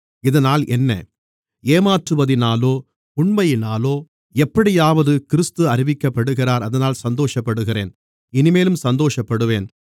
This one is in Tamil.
இதனால் என்ன ஏமாற்றுவதினாலோ உண்மையினாலோ எப்படியாவது கிறிஸ்து அறிவிக்கப்படுகிறார் அதனால் சந்தோஷப்படுகிறேன் இனிமேலும் சந்தோஷப்படுவேன்